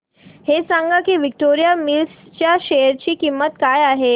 हे सांगा की विक्टोरिया मिल्स च्या शेअर ची किंमत काय आहे